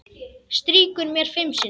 Strýkur mér fimm sinnum.